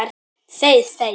Þey þey!